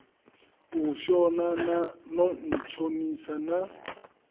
u shona no ntshonisa na